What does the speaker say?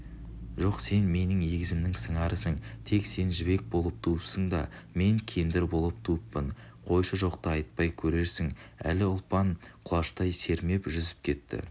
жоқ сен менің егізімнің сыңарысың тек сен жібек болып туыпсың да мен кендір болып туыппын қойшы жоқты айтпай керерсің әлі ұлпан құлаштай сермеп жүзіп кетті